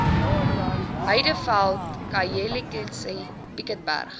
heideveld khayelitsha piketberg